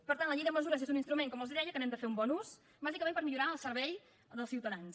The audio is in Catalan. per tant la llei de mesures és un instrument com els deia que n’hem de fer un bon ús bàsicament per millorar el servei dels ciutadans